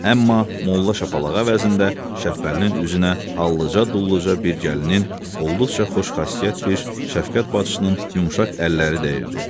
Amma molla şapalaq əvəzində Şəbbəlinin üzünə hallıca-dulluca bir gəlinin olduqca xoşxasiyyət bir şəfqət bacısının yumşaq əlləri dəyirdi.